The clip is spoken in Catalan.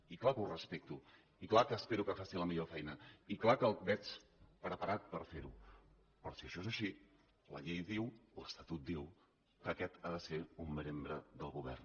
i clar que ho respecto i clar que espero que faci la millor feina i clar que el veig preparat per fer ho però si això és així la llei diu l’estatut diu que aquest ha de ser un membre del govern